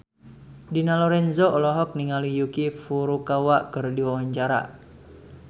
Dina Lorenza olohok ningali Yuki Furukawa keur diwawancara